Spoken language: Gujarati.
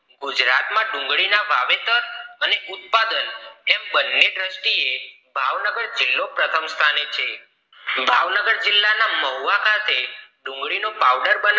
ગુજરાત માં ડુંગળી ના વાવેતર અને ઉત્પાદન એમ બન્ને દ્રષ્ટિએ ભાવનગર જિલ્લો પ્રથમ સ્થાને છે ભાવનગર જિલ્લા ના મહુવા ખાતે ડુંગળી ની પાઉડર બનવા